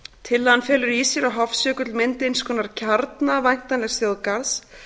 tillagan felur í sér að hofsjökull myndi eins konar kjarna væntanlegs þjóðgarðs